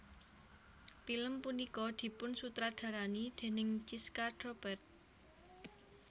Pilem punika dipun sutradarani déning Chiska Doppert